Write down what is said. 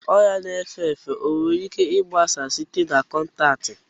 Ọrịa na-efe efe o nwere ike gbasaa site na kọntaktị?